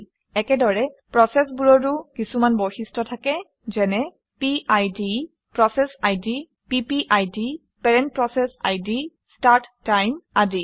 একেদৰে প্ৰচেচবোৰৰো কিছুমান বৈশিষ্ট্য থাকে যেনে - পিড পিপিআইডি ষ্টাৰ্ট টাইম আদি